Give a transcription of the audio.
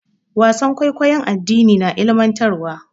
Wasan kwaikwayon addini na ilimantarwa.